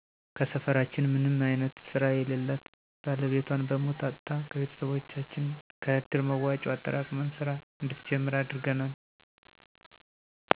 ከሰፈራችን ምንም አይነት ስራ የለላት ባለቤቷን በሞት አጥታ ከቤቶሰቦቻችን ከእድር መዋጮ አጠራቅመን ስራ እንድትጀምር አድርገናል